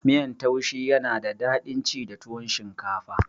Miyan taushi yana da dadin ci da tuwon shinkafa